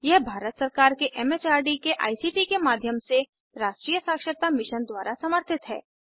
यह भारत सरकार के एम एच आर डी के आई सी टी के माध्यम से राष्ट्रीय साक्षरता मिशन द्वारा समर्थित है